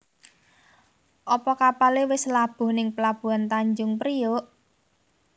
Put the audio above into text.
Opo kapale wis labuh ning pelabuhan Tanjung Priok?